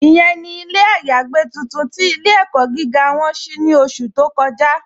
Ìyẹ̀n ni ilẹ̀ ayàgbẹ̀ tuntun tí ilẹ̀-ẹ̀kọ́ gígá wọn ṣí ní ọ̀ṣù tó kọ́ja.